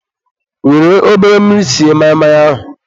were obere mmiri sie maị maị ahụ.